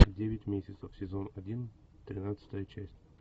девять месяцев сезон один тринадцатая часть